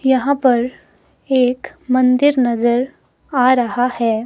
यहां पर एक मंदिर नजर आ रहा है।